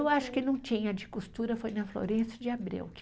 Eu acho que não tinha, de costura foi na Florêncio de Abreu